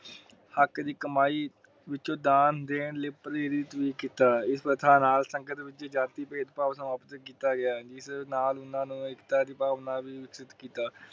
ਹੱਕ ਦੀ ਕਮਾਈ ਵਿੱਚੋ ਦਾਨ ਦੇਣ ਲਾਇ ਪ੍ਰੇਰਿਤ ਵੀ ਕੀਤਾ ਇਸ ਪ੍ਰਥਾ ਨਾਲ ਸੰਗਤ ਵੀ